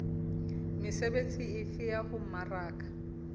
mesebetsi efe ya ho mmaraka